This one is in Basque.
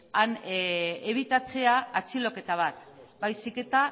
ebitatzea atxiloketa baizik eta